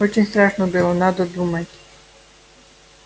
очень страшно было надо думать